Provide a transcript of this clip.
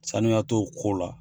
Sanuya t'o ko la.